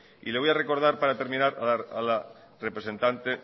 y le voy a recordar para terminar a la representante